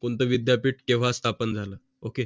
कोणता विद्यापीठ केव्हा स्थापन झालें ok